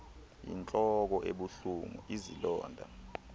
yintloko ebuhlungu izilonda